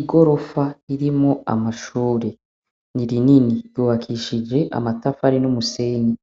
Igorofa irimwo amashure ni rinini ryubakishije amafatari n'umusenyi